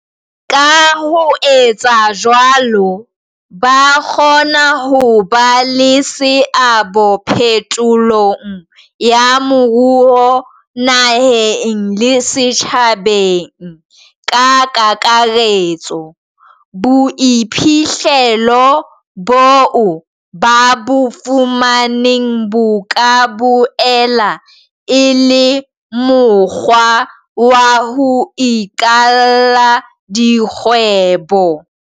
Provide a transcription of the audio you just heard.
Ka ho etsa jwalo, ba kgona ho ba le seabo phetolong ya moruo naheng le setjhabeng ka kakaretso. Boiphihlelo boo ba bo fumaneng bo ka boela e le mokgwa wa ho iqalla dikgwebo.